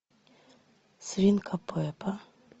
свинка пеппа